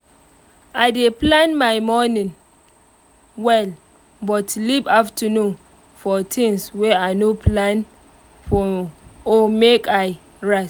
i dey plan my morning well but leave afternoon for things wey i no plan or make i rest